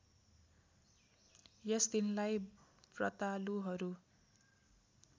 यस दिनलाई ब्रतालुहरू